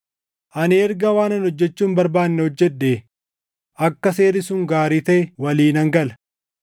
Ani erga waanan hojjechuu hin barbaanne hojjedhee, akka seerri sun gaarii taʼe walii nan gala.